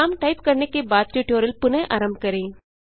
programme type करने के बाद ट्यूटोरियल पुनः आरंभ करें